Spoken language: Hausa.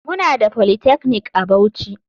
Muna da polytechnic a bauchi.